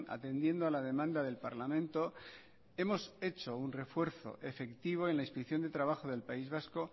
atendiendo a la demanda del parlamento hemos hecho un refuerzo efectivo en la inspección de trabajo del país vasco